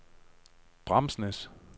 Bramsnæs